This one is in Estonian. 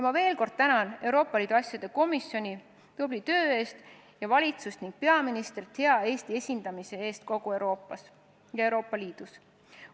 Ma veel kord tänan Euroopa Liidu asjade komisjoni tubli töö eest ning valitsust ja peaministrit Eesti hea esindamise eest kogu Euroopas ja Euroopa Liidus.